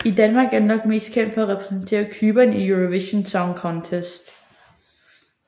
I Danmark er han nok mest kendt for at repræsentere Cypern i Eurovision Song Contest